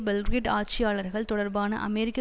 Belgrade ஆட்சியாளர்கள் தொடர்பான அமெரிக்க